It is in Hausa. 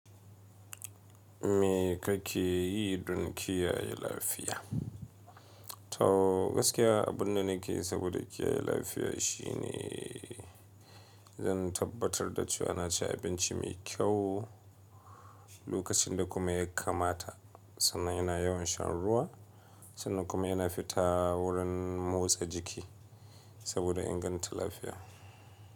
Me kake yi don kiyaye lafiya? To gaskiya abun da nake yi saboda kiyaye lafiya shine zan tabbatar da cewa na ci abinci mai kyau, lokacin da kuma ya kamata sannan ina yawan shan ruwa, sannan kuma ina fita wurin motsa jiki saboda inganta lafiya.